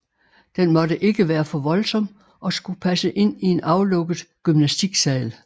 Den måtte ikke være for voldsom og skulle passe ind i en aflukket gymnastiksal